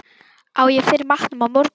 Á ég fyrir matnum á morgun?